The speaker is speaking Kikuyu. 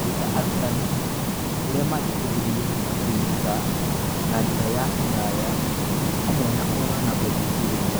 Kũruta arutani ũrĩa mangĩteithĩrĩria wega kwĩruta na njĩra ya kũraya, hamwe na kũrora na gũthuthuria